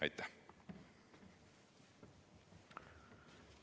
Aitäh!